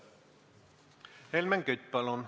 Helmen Kütt, palun!